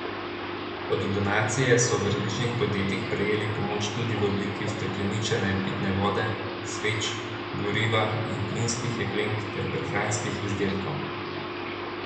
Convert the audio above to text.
Kot donacije so od različnih podjetij prejeli pomoč tudi v obliki ustekleničene pitne vode, sveč, goriva in plinskih jeklenk ter prehranskih izdelkov.